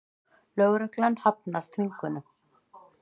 Lögregla hafnar þvingunum